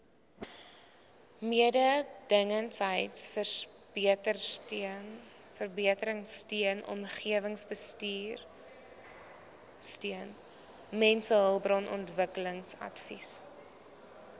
mededingendheidsverbeteringsteun omgewingsbestuursteun mensehulpbronontwikkelingsadvies